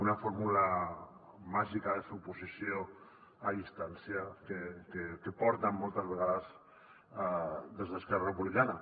una fórmula màgica de fer oposició a distància que porten moltes vegades des d’esquerra republicana